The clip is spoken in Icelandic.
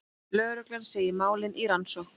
Lögregla segir málin í rannsókn